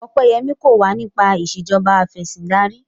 Opeyemi kò wá nipa Ìṣèjọba Afẹ̀sìndarí